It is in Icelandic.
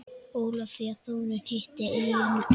Ólafía Þórunn hitti eyjuna.